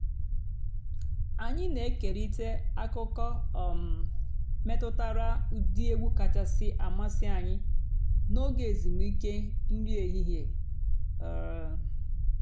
ányị́ nà-ékérị́tá àkụ́kọ̀ um mètùtàrà ụ́dị́ ègwú kàchàsị́ àmásị́ ànyị́ n'óge èzùmìké nrí èhìhè. um